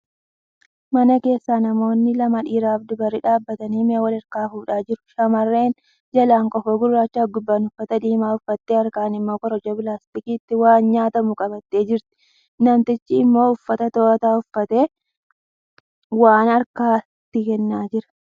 Mana keessa namoonni lama dhiirafi dubarri dhaabatanii mi'a wal harkaa fuudhaa jiru. Shamarreen jalaan kofoo gurraachafi gubbaan uffata diimaa uffattee harkaan immoo korojoo pilaastikaatti waan nyaatamu qabattee jirti. Namtichi immoo uffata too'ataa uffatee waan ta'e harkaan itti kennaa jira.